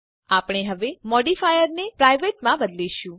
આપણે હવે મોડીફાયરને પ્રાઇવેટ માં બદલીશું